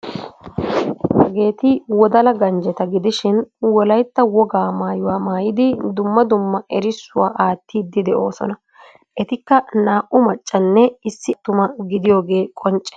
Hageeti wodala ganjjeta gidishin wolaytta wogaa maayuwa maayidi dumma dumma erissuwa aattiiddi de'oosona. Etikka naa'u maccanne issi attuma gidiyogee qoncce.